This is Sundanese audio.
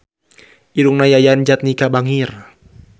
Irungna Yayan Jatnika bangir